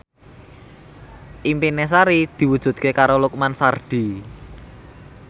impine Sari diwujudke karo Lukman Sardi